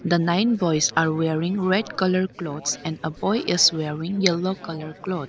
the nine boys are wearing red colour clothes and a boy is wearing yellow colour cloth.